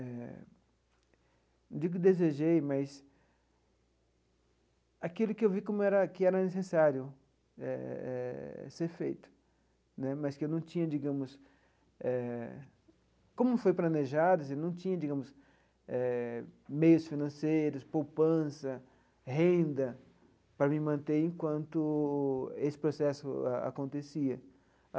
Eh não digo desejei, mas aquilo que eu vi como era que era necessário eh eh ser feito né, mas que eu não tinha, digamos eh... Como não foi planejado, não tinha, digamos eh, meios financeiros, poupança, renda para me manter enquanto esse processo acontecia.